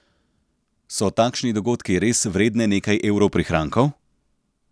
So takšni dogodki res vredne nekaj evrov prihrankov?